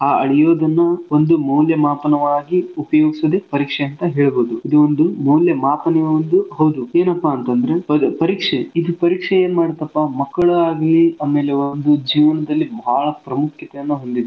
ಆ ಅಳಿಯೂದನ್ನೂ ಒಂದು ಮೌಲ್ಯಮಾಪನವಾಗಿ ಉಪಯೋಗ್ಸೋದೆ ಪರೀಕ್ಷೆ ಅಂತ ಹೇಳ್ಬೌದು. ಇದೊಂದು ಮೌಲ್ಯ ಮಾಪನವಂದು ಹೌದು. ಏನಪಾ ಅಂತಂದ್ರೆ ಹೌದು ಪರೀಕ್ಷೆ ಇದು ಪರೀಕ್ಷೆ ಏನ್ ಮಾಡುತ್ತಪ್ಪಾ ಮಕ್ಳನಾಗ್ಲಿ ಆಮೇಲೆ ಒಂದು ಜೀವನ್ದಲ್ಲಿ ಭಾಳ ಪ್ರಾಮುಖ್ಯತೆಯನ್ನ ಹೊಂದಿದೆ.